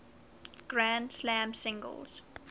grand slam singles